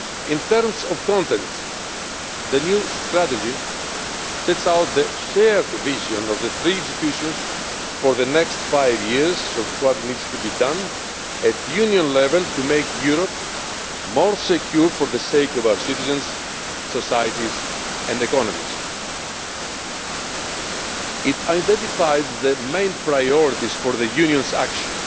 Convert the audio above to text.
In terms of content, the new strategy sets out the shared vision of the three institutions for the next five years on what needs to be done at Union level to make Europe more secure for the sake of its citizens, societies and economies. It identifies the main priorities for the Union's actions,